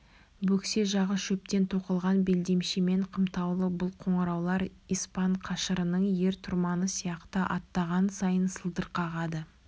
бөксе жағы шөптен тоқылған белдемшемен қымтаулы бұл қоңыраулар испан қашырының ер-тұрманы сияқты аттаған сайын сылдыр қағады